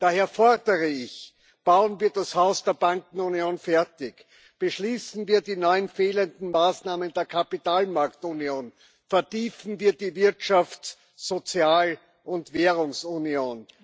Daher fordere ich Bauen wir das Haus der Bankenunion fertig, beschließen wir die neuen fehlenden Maßnahmen der Kapitalmarktunion, vertiefen wir die Wirtschafts Sozial und Währungsunion!